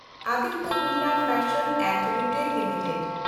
Aditya Birla fashion and retail limited